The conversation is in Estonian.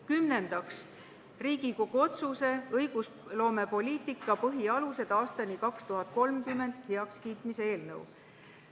Kümnendaks, Riigikogu otsuse ""Õigusloomepoliitika põhialused aastani 2030" heakskiitmine" eelnõu.